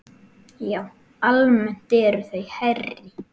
Já, almennt eru þau hærri.